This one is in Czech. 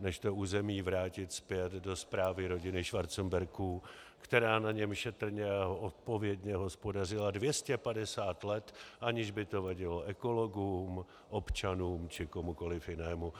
než to území vrátit zpět do správy rodiny Schwarzenbergů, která na něm šetrně a odpovědně hospodařila 250 let, aniž by to vadilo ekologům, občanům či komukoliv jinému.